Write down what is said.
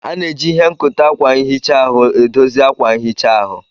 A na-eji ihe nkote akwa nhicha ahu edozi akwa nhicha ahu.